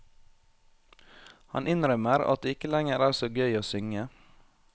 Han innrømmer at det ikke lenger er så gøy å synge.